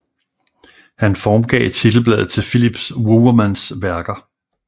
Han formgav titelbladet til Philips Wouwermans værker